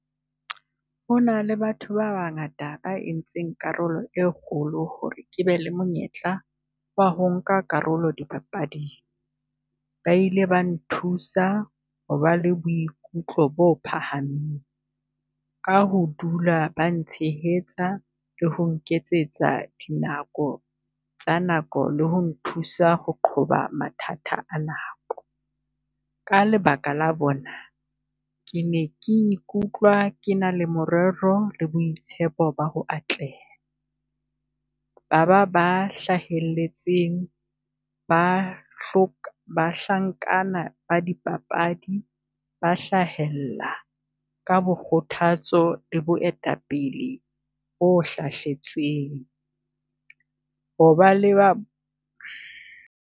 Ho na le batho ba bangata ba entseng karolo e kgolo ho re ke be le monyetla wa ho nka karolo di papading. Ba ile ba nthusa ho ba le boikutlo bo phahameng, ka ho dula ba ntshehetsa le ho nketsetsa dinako tsa nako le ho nthusa ho qhoba mathata a nako. Ka lebaka la bona, ke ne ke ikutlwa ke na le morero le boitshepo ba ho atleha. Ba ba ba hlahelletseng ba bahlankana ba di papadi ba hlahella ka bo kgothatso le boetapele bo hlahletsweng, ho ba le ba.